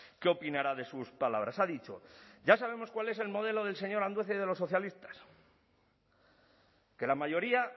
qué opinará de sus palabras ha dicho ya sabemos cuál es el modelo del señor andueza y de los socialistas que la mayoría